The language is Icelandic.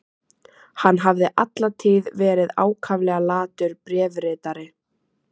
Hann hafði alla tíð verið ákaflega latur bréfritari.